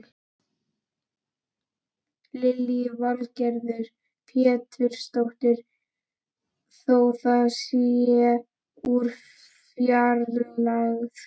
Lillý Valgerður Pétursdóttir: Þó það sé úr fjarlægð?